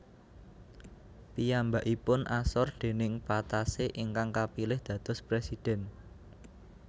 Piyambakipun asor déning Patassé ingkang kapilih dados presiden